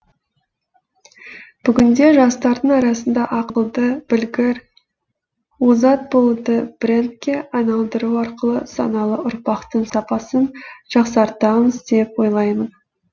бүгінде жастардың арасында ақылды білгір озат болуды брендке айналдыру арқылы саналы ұрпақтың сапасын жақсартамыз деп ойлаймын